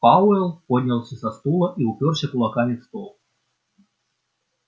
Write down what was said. пауэлл поднялся со стула и упёрся кулаками в стол